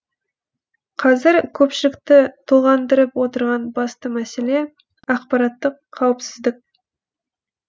қазір көпшілікті толғандырып отырған басты мәселе ақпараттық қауіпсіздік